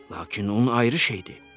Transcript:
Lakin un ayrı şeydir.